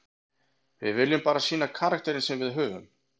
Við viljum bara sýna karakterinn sem við höfum.